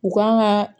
U kan ka